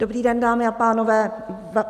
Dobrý den, dámy a pánové.